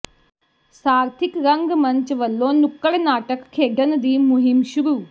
ਸਾਰਥਿਕ ਰੰਗਮੰਚ ਵੱਲੋਂ ਨੁੱਕੜ ਨਾਟਕ ਖੇਡਣ ਦੀ ਮੁਹਿੰਮ ਸ਼ੁਰੂ